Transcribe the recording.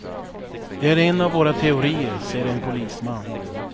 Det är en av våra teorier, säger en polisman.